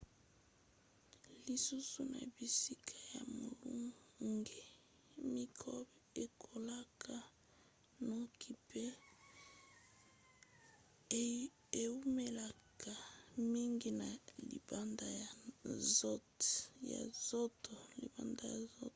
lisusu na bisika ya molunge mikrobe ekolaka noki pe eumelaka mingi na libanda ya nzoto